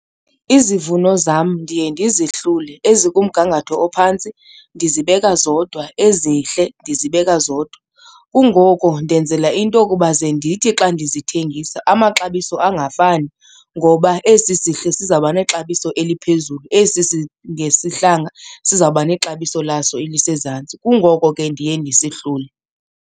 Izivuno zam ndiye ndizihlule, ezikumgangatho ophantsi ndizibeka zodwa ezihle ndizibeka zodwa. Kungoko ndenzela into okuba ze ndithi xa ndizithengisa amaxabiso angafani ngoba esi sihle sizawuba nexabiso eliphezulu, esi singesihlanga sizawuba nexabiso laso elisezantsi. Kungoko ke ndiye ndisihlule.